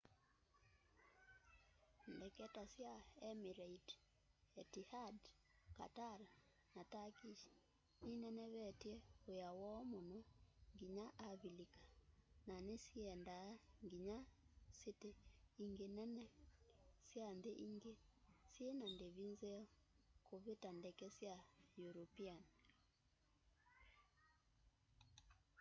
ndeke ta sya emirates etihad qatar na turkish ninenevetye wia woo muno nginya avilika na nisiendaa nginya siti ingi nene sya nthi ingi syina ndivi nzeo kuvita ndeke sya european